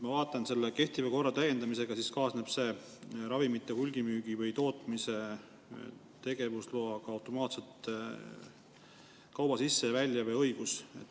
Ma vaatan, et kehtiva korra täiendamisega kaasneb ravimite hulgimüügi või tootmise tegevusloaga automaatselt kauba sisse- ja väljaveo õigus.